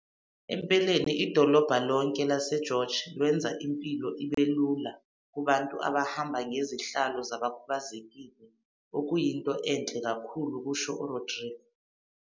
"Empeleni, idolobha lonke laseGeorge lwenza impilo ibe lula kubantu abahamba ngezihlalo zabakhubazekile, okuyinto enhle kakhulu," kusho uRodrique.